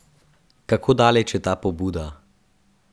Kako daleč je ta pobuda?